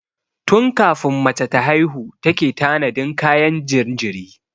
Tun kafin mace ta haihu take tanadin kayan jinjiri.